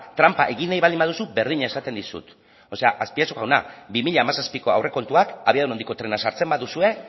tranpa egin nahi baldin baduzu berdina esaten dizut o sea azpiazu jauna bi mila hamazazpiko aurrekontuak abiadura handiko trena sartzen baduzue